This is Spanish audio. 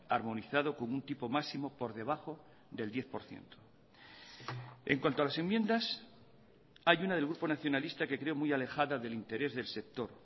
armonizado con un tipo máximo por debajo del diez por ciento en cuanto a las enmiendas hay una del grupo nacionalista que creo muy alejada del interés del sector